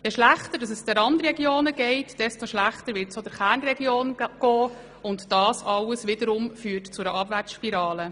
Je schlechter es den Randregionen geht, desto schlechter wird es auch der Kernregion gehen, und das wiederum führt zu einer Abwärtsspirale.